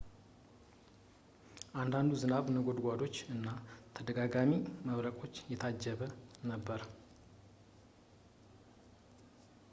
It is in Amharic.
አንዳንዱ ዝናብ በነጎድጓዶች እና ተደጋጋሚ መብረቆች የታጀበ ነበር